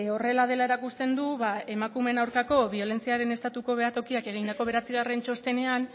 horrela dela erakusten du ba emakumeen aurkako biolentziaren estatuko behatokiak egindako bederatzigarren txostenean